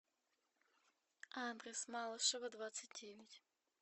адрес малышева двадцать девять